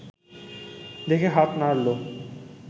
দেখে হাত নাড়ল